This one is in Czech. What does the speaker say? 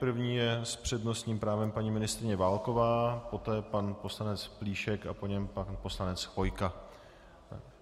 První je s přednostním právem paní ministryně Válková, poté pan poslanec Plíšek a po něm pan poslanec Chvojka.